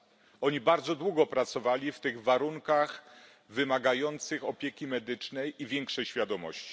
Osoby te bardzo długo pracowały w tych warunkach wymagających opieki medycznej i większej świadomości.